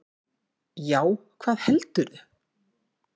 Já, hvað heldurðu!